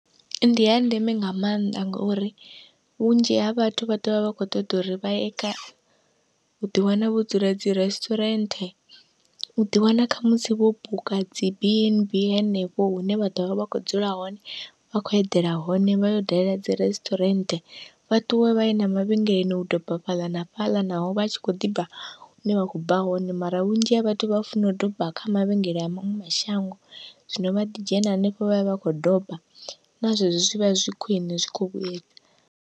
Ndi ya ndeme nga mannḓa, ngauri vhunzhi ha vhathu vha ḓovha vha kho ṱoḓa uri vha ye kha uḓi wana vho dzula dzi resturant uḓi wana khamusi vho buka dzi b n b henefho hune vha ḓovha vha kho dzula hone vha khou eḓela hone vha yo dalela dzi resturant, vha ṱuwe vha ye na mavhengeleni u doba fhaḽa na fhaḽa naho vha tshi kho ḓibva hune vha kho bva hone. Mara vhunzhi ha vhathu vha funa u doba kha mavhengele a maṅwe mashango zwino vha ḓi dzhena hanefho vhavha vha kho doba na zwezwo zwivha zwi khwiṋe zwi kho vhuyedza.